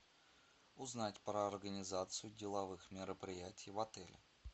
узнать про организацию деловых мероприятий в отеле